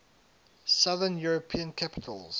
southern european capitals